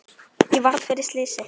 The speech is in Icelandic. Ég varð fyrir slysi